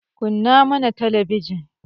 kunna mana talabijin